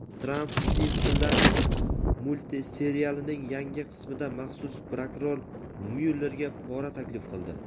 Tramp "Simpsonlar" multserialining yangi qismida maxsus prokuror Myullerga pora taklif qildi.